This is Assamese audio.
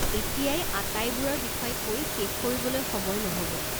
এতিয়াই আটাইবোৰৰ বিষয়ে কৈ শেষ কৰিবলৈ সময় নহ'ব।